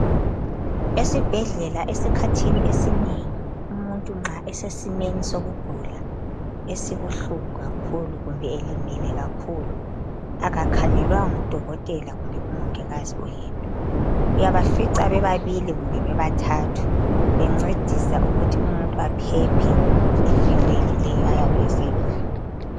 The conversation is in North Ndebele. Esibhedlela esikhathini esinengi, umuntu nxa esesimeni sokugula esibuhlungu kakhulu, , kumbe elimele. Umuntu kakhangelwa ngumuntu oyedwa kuphela. Uyafica bebabili kumbe bebathathu. Bencedisa ukuthi umuntu aphephe empilweni le ayabe esekuyo.